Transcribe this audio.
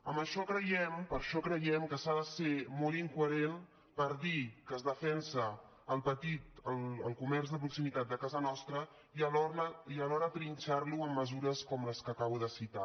per això creiem que s’ha de ser molt inco·herent per dir que es defensa el comerç de proximitat de casa nostra i alhora trinxar·lo amb mesures com les que acabo de citar